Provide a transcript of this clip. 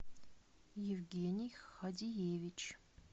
евгений хадиевич